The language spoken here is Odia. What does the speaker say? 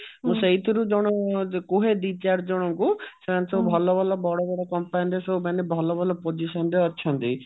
ମୁଁ ସେଇଥିରୁ କୁହେ ଦି ଚାରି ଜଣକୁ ସେମାନେ ସବୁ ଭଲ ଭଲ ବଡ ବଡ company ରେ ସବୁ ଭଲ ଭଲ position ରେ ଅଛନ୍ତି